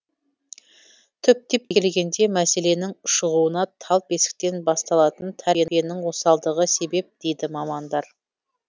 түптеп келгенде мәселенің ушығуына тал бесіктен басталатын тәрбиенің осалдығы себеп дейді мамандар